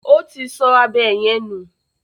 Ó ti sọ abọ́ yẹn nù.